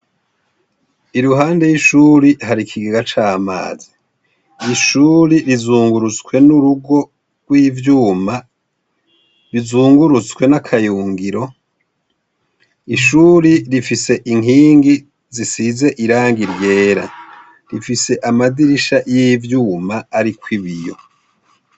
Iruhande y'ishuri hari ikiga aga camaze ishuri rizungurutswe n'urugo rw'ivyuma rizungurutswe n'akayungiro ishuri rifise inkingi zisize iranga iryera rifise amadirisha y'ivyuma, ariko ib iyo.